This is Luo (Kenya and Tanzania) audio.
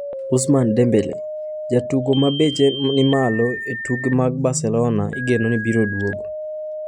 Ousmane Dembele: Jatugo mabech mamayo e tuke mag Barcelona igeno ni biro duogo